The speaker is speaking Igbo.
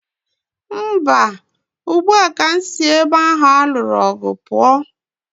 Mba, ugbu a ka m si ebe ahụ a lụrụ ọgụ pụọ.